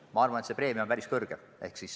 Ma arvan, et see preemia on päris suur.